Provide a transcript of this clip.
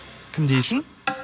кім дейсің